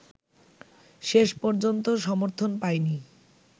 শেষ পর্যন্ত সমর্থন পায়নি